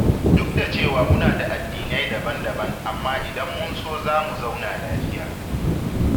Duk da cewa muna da addinai daban-daban amma idan mun so za mu zauna lafiya.